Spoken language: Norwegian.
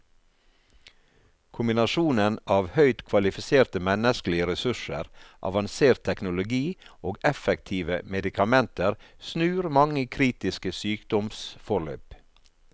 Kombinasjonen av høyt kvalifiserte menneskelige ressurser, avansert teknologi og effektive medikamenter snur mange kritiske sykdomsforløp.